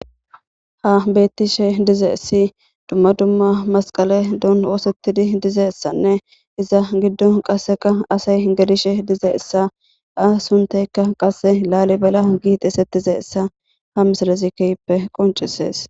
Ha beetishe dizayssi dumma dumma masqaledan oosetidi dizayssanne giddon qasseka asay gelishe dizayssa a sunththaykka qasse lalebala gi xeesetizayssa. Ha misilezi keehippe qoncciseees.